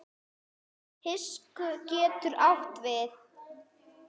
Hyski getur átt við